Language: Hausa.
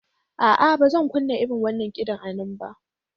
A'a, ba zan kunna irin wannan kiɗan a nan ba.